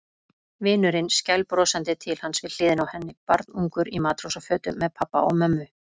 Vinurinn skælbrosandi til hans við hliðina á henni, barnungur í matrósafötum með pabba og mömmu.